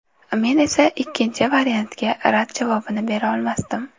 Men esa ikkinchi variantga rad javobini bera olmasdim.